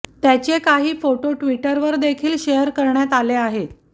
त्याचे काही फोटो ट्विटरवर देखील शेअर करण्यात आले आहे